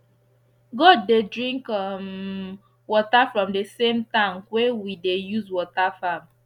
goat dey drink um water from the same tank wey we dey use water farm